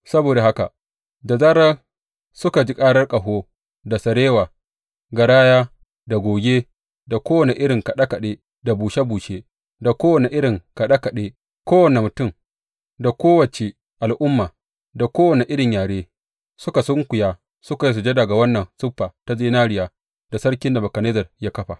Saboda haka, da zarar suka ji karar ƙaho, da sarewa, garaya da goge da kowane irin kaɗe kaɗe da bushe bushe da kowane irin kaɗe kaɗe kowane mutum da ko wace al’umma da kowane irin yare suka sunkuya suka yi sujada ga wannan siffa ta zinariya da sarki Nebukadnezzar ya kafa.